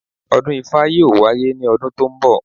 Ọdún ifá yóò wáyé ní ọdún tó ń bọ̀